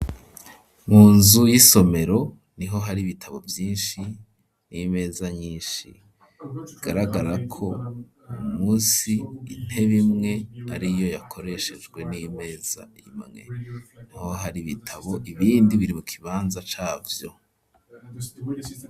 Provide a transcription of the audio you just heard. Mu nzu y'isomero, niho hari bitabo vyinshi n'imeza nyinshi, bigaragara ko uwu munsi, intebe imwe ariyo yakoreshejwe n'imeza imwe, niho hari ibitabo ibindi biri mu kibanza cavyo.